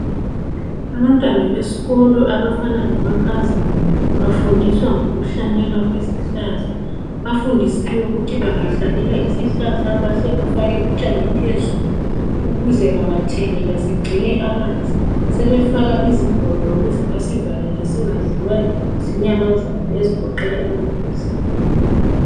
Abantwana besikolo abafana lamankazana bafundiswa ngokuhlanyelwa kwezihlahla bafundisiwe ukuthi bangahlanyela isihlahla bahle bafake utshani phezulu ukuze bangathelela sigcine amanzi sebefaka izigodo ukuze basivalele singadliwa zinyamazana ezigoqela imbuzi.